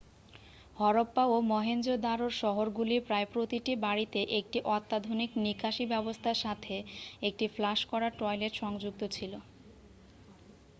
হরপ্পা ও মহেঞ্জো-দারোর শহরগুলির প্রায় প্রতিটি বাড়িতে একটি অত্যাধুনিক নিকাশী ব্যবস্থার সাথে একটি ফ্লাশ করা টয়লেট সংযুক্ত ছিল